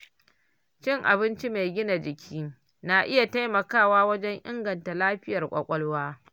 Cin abinci mai gina jiki na iya taimakawa wajen inganta lafiyar ƙwaƙwalwa.